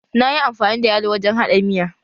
Na yi amfani da yalo wajen haɗa miya.